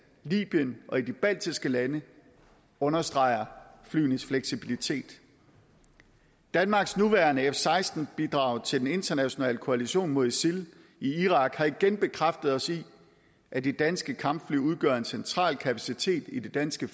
libyen og i de baltiske lande understreger flyenes fleksibilitet danmarks nuværende f seksten bidrag til den internationale koalition mod isil i irak har igen bekræftet os i at de danske kampfly udgør en central kapacitet i det danske